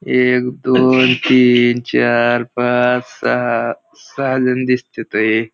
एक दोन तीन चार पाच सहा सहा जण दिसते तय.